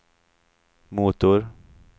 motor